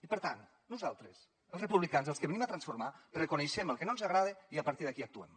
i per tant nosaltres els republicans els que venim a transformar reconeixem el que no ens agrada i a partir d’aquí actuem